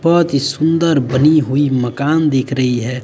बहोत ही सुंदर बनी हुई मकान दिख रही है।